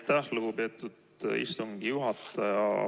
Aitäh, lugupeetud istungi juhataja!